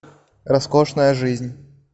роскошная жизнь